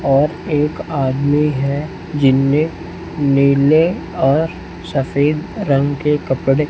और एक आदमी है जिनमें नीले और सफेद रंग के कपड़े--